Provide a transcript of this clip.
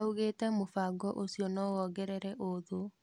Augĩte mũbango ũcio no wongerere ũthũ.